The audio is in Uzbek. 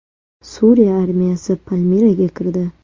Suriya armiyasi Palmiraga kirdi .